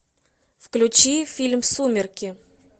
включи фильм сумерки